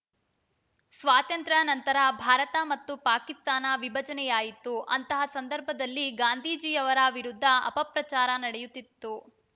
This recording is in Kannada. ಸ್ವಾತಂತ್ರ್ಯನಂತರ ಭಾರತ ಮತ್ತು ಪಾಕಿಸ್ತಾನ ವಿಭಜನೆಯಾಯಿತು ಅಂತಹ ಸಂದರ್ಭದಲ್ಲಿ ಗಾಂಧಿಜೀಯವರ ವಿರುದ್ಧ ಅಪಪ್ರಚಾರ ನಡೆಯುತ್ತಿತ್ತು